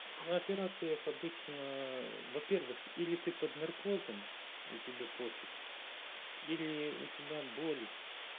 на операциях обычно во-первых или ты под наркозом и тебе пофиг или у тебя боль